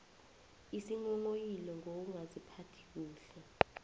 isinghonghoyilo ngokungaziphathi kuhle